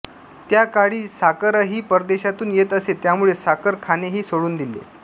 त्याकाळी साखरही परदेशातून येत असे त्यामुळे साखर खाणेही सोडून दिले